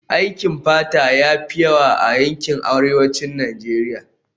Aikin fata ya fi yawa a yankin arewacin Najeriya